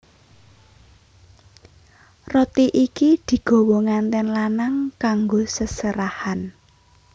Roti iki digawa ngantèn lanang kanggo seserahan